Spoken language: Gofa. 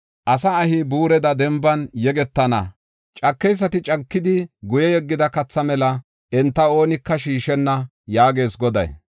“Asa ahi buureda denban yegetana; cakeysati cakidi guye yeggida katha mela enta oonika shiishenna” yaagees Goday.